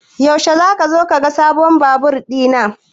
Yaushe zaka zo ka ga sabon Babur ɗina?